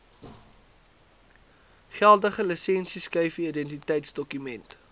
geldige lisensieskyfie identiteitsdokument